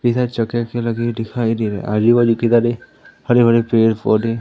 इधर जगह की लगे दिखाई दे रहा आजू बाजू किधर है हरे भरे पेड़ पौधे--